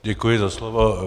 Děkuji za slovo.